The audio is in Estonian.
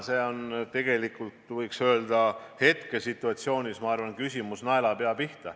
See on minu arvates hetkesituatsiooni arvestades küsimus naelapea pihta.